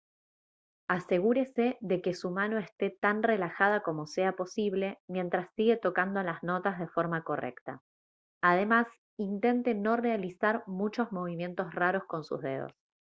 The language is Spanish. asegúrese de que su mano esté tan relajada como sea posible mientras sigue tocando las notas de forma correcta además intente no realizar muchos movimientos raros con sus dedos